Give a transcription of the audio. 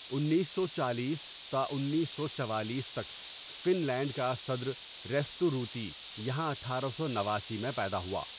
انیس سوچالیس تا انیس سو چوالیس تک فن لینڈ کا صدر ریستو رُوتی یہاں اٹھارہ سو نواسی میں پیدا ہوا.